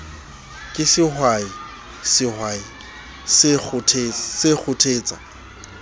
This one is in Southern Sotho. ke sehwai sehwai se kgothetsa